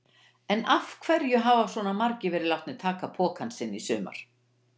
En af hverju hafa svona margir verið látnir taka pokann sinn í sumar?